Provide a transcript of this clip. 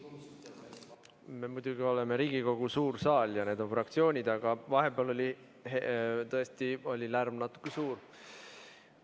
Me muidugi oleme Riigikogu suur saal ja need on fraktsioonid, aga vahepeal oli tõesti lärm natuke suur.